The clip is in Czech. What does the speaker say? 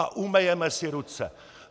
A umyjeme si ruce.